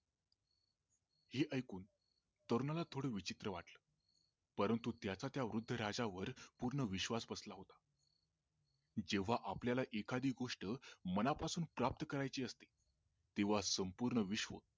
हे ऐकून तरुणाला थोड विचित्र वाटलं परंतु त्याचा त्या वृद्ध राजावर पूर्ण विश्वास बसला होता जेंव्हा आपल्याला एखादी गोष्ट मनापासून प्राप्त करायची असते तेंव्हा संपूर्ण विश्व